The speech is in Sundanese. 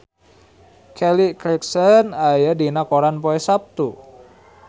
Kelly Clarkson aya dina koran poe Saptu